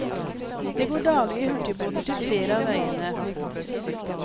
Det går daglige hurtigbåter til flere av øyene.